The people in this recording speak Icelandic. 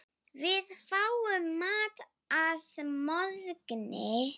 Við fáum mat að morgni.